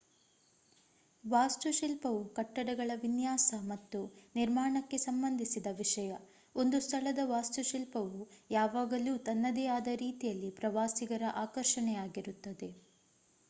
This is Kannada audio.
ವಾಸ್ತುಶಿಲ್ಪವು ಕಟ್ಟಡಗಳ ವಿನ್ಯಾಸ ಮತ್ತು ನಿರ್ಮಾಣಕ್ಕೆ ಸಂಬಂಧಿಸಿದ ವಿಷಯ ಒಂದು ಸ್ಥಳದ ವಾಸ್ತುಶಿಲ್ಪವು ಯಾವಾಗಲೂ ತನ್ನದೇ ಆದ ರೀತಿಯಲ್ಲಿ ಪ್ರವಾಸಿಗರ ಆಕರ್ಷಣೆಯಾಗಿರುತ್ತದೆ